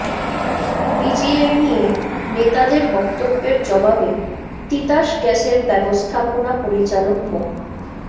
BGMEA নেতাদের বক্তব্যের জবাবে তিতাস গ্যাসের ব্যবস্থাপনা পরিচালক মো